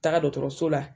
Taga dɔgɔtɔrɔso la